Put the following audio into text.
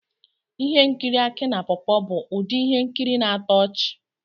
Ihe nkiri Aki na pawpaw bụ ụdị ihe nkiri na-atọ ọchị.